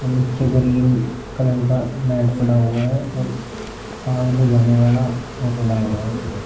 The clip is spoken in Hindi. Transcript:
नीचे ग्रीन कलर का मैट पड़ा हुआ है और आग बुझाने वाला वो पड़ा हुआ है।